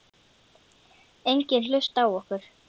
Enginn hlusta á okkur.